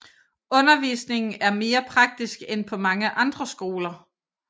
Undervisningen er mere praktisk end på mange andre skoler